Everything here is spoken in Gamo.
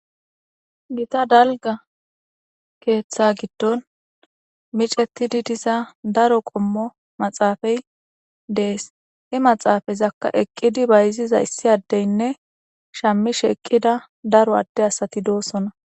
gita dalga keeththa giddon micetidi diza daro qommo maxaafay dees he maxaafayzakka eqqidi bayziza issi addeynne shammishe eqqida daro adde asati doossona